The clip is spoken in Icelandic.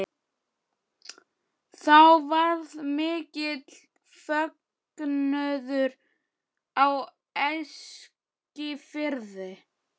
Þá varð mikill fögnuður á Eskifirði.